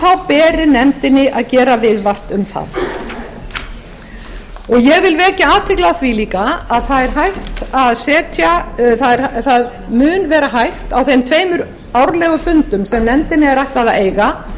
þá beri nefndinni að gera viðvart um það ég vil vekja athygli á því líka að það mun vera hægt á þeim tveimur árlegum fundum sem nefndinni er ætlað að eiga